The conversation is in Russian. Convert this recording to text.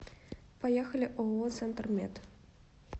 поехали ооо центр мед